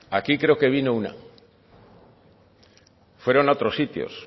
aquí creo que vino una fueron a otros sitios